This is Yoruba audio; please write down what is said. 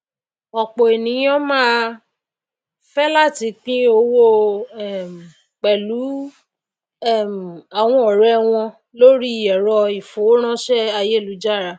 òpò ènìyàn máá fé láti pín owó um pèlú um àwọn òré wọn lórí èrọ ìfowóránsé ayélujára